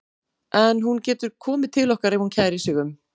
En hún getur komið til okkar ef hún kærir sig um.